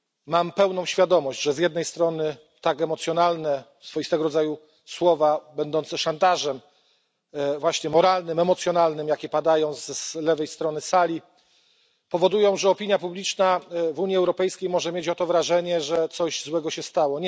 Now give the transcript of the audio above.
Mam pełną świadomość, że z jednej strony tak emocjonalne swoistego rodzaju słowa będące szantażem, właśnie moralnym, emocjonalnym jakie padają z lewej strony sali, powodują, że opinia publiczna w Unii Europejskiej może mieć oto wrażenie, że coś złego się stało.